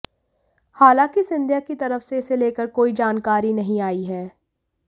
हालांकि सिंधिया की तरफ से इसे लेकर कोई जानकारी नहीं आई है